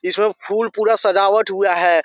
इसमें फुल पूरा सजावट हुआ है।